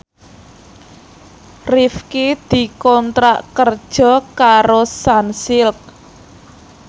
Rifqi dikontrak kerja karo Sunsilk